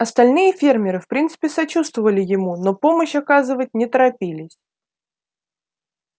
остальные фермеры в принципе сочувствовали ему но помощь оказывать не торопились